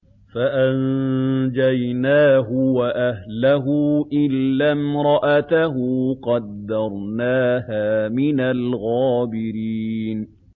فَأَنجَيْنَاهُ وَأَهْلَهُ إِلَّا امْرَأَتَهُ قَدَّرْنَاهَا مِنَ الْغَابِرِينَ